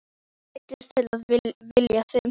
Ég neyddist til að vilja þig.